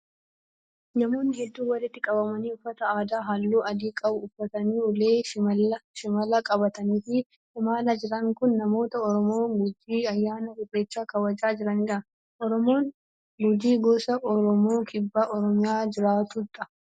Namoonni hedduun walitti qabamanii ,uffata aadaa haalluu adii qabu uffatanii ,ulee shimalaa qabatanii fi imalaa jiran kun, namoota Oromoo gujii ayyaana irreechaa kabajaa jiranii dha. Oromoon gujii, gosa Oromoo kibba Oromiyaa jiraatu dha.